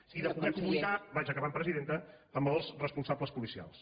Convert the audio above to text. i de poder comunicar vaig acabant presidenta amb els responsables policials